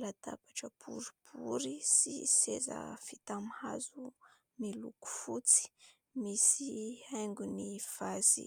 Latabatra boribory sy seza vita amin'ny miloko fotsy, misy haingony vazy